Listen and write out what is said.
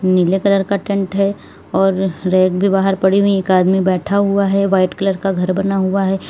नीले कलर का टेंट है और रैक बाहर पड़ी हुई एक आदमी बैठा हुआ है वाइट कलर का घर बना हुआ है।